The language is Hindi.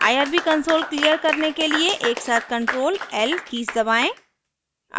irb कंसोल क्लियर करने के लिए एकसाथ ctrl l कीज़ दबाएं